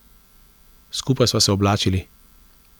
Skupaj sva se oblačili.